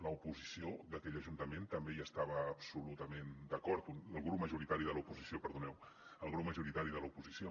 l’oposició d’aquell ajuntament també hi estava absolutament d’acord el grup majoritari de l’oposició perdoneu el grup majoritari de l’oposició